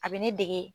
A bɛ ne dege